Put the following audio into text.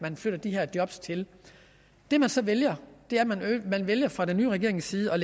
flytter de her job til det man så vælger vælger fra den nye regerings side er